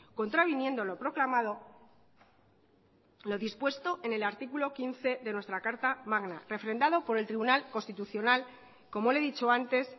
contraviniendo lo proclamado lo dispuesto en el artículo quince de nuestra carta magna refrendado por el tribunal constitucional como le he dicho antes